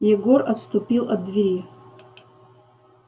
егор отступил от двери